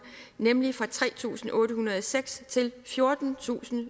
nemlig fra tre tusind otte hundrede og seks til fjortentusinde